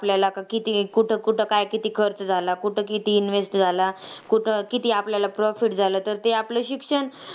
आपल्याला का किती कुठं कुठं काय किती खर्च झाला, कुठं किती invest झाला. कुठं किती आपल्याला profit झाला, तर ते आपलं शिक्षण,